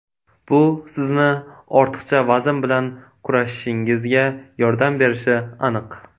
Bu sizni ortiqcha vazn bilan kurashishingizga yordam berishi aniq.